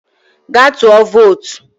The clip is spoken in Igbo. Gaa tụọ vootu!